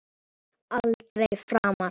Aldrei framar.